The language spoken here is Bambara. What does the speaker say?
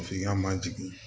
F'i ka manjigin